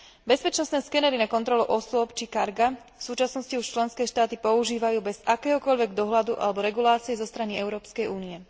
Bezpečnostné skenery na kontrolu osôb či carga v súčasnosti už členské štáty používajú bez akéhokoľvek dohľadu alebo regulácie zo strany Európskej únie.